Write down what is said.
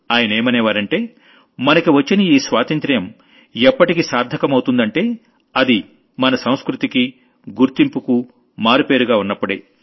ఆయనేమనేవారంటే మనకి వచ్చిన ఈ స్వాతంత్ర్యం ఎప్పటికి సార్థకమవుతుందంటే అది మన సంస్కృతికి గుర్తింపుకు మారుపేరుగా ఉన్నప్పుడే